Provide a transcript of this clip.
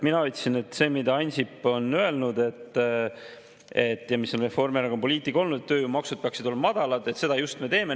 Mina ütlesin, et seda, mida Ansip on öelnud, mis on olnud Reformierakonna poliitika, et tööjõumaksud peaksid olema madalad, me just teeme.